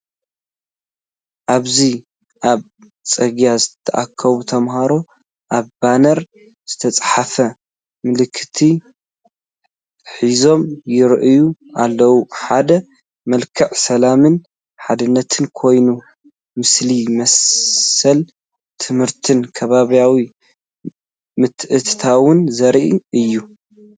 ኣብዚ ኣብ ጽርግያ ዝተኣከቡ ተማሃሮ ኣብ ባነር ዝተጻሕፈ መልእኽቲ ሒዞም ይረኣዩ ኣለው። ሓደ መልክዕ ሰላምን ሓድነትን ኮይኑ፡ ምሳሌ መሰል ትምህርትን ከባብያዊ ምትእትታውን ዘርኢ እዩ።